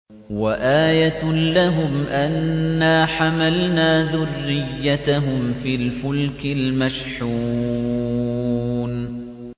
وَآيَةٌ لَّهُمْ أَنَّا حَمَلْنَا ذُرِّيَّتَهُمْ فِي الْفُلْكِ الْمَشْحُونِ